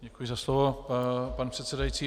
Děkuji za slovo, pane předsedající.